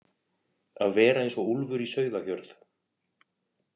Að vera eins og úlfur í sauðahjörð